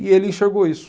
E ele enxergou isso.